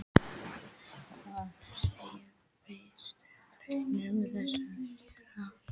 Hvað segja Vinstri-grænir um þessa aðgerð?